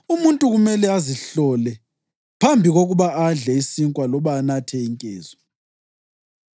Umuntu kumele azihlole phambi kokuba adle isinkwa loba anathe inkezo.